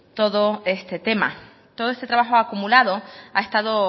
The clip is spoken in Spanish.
todo este tema todo este trabajo acumulado ha estado